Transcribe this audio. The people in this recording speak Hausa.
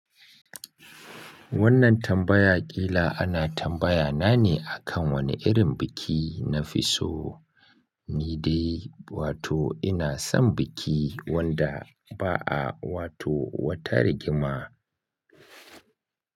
Wannan tambaya ƙila ana tambaya na ne akan wane irin biki na fi so. Ni dai wato ina son biki wanda ba a wato wata rigima.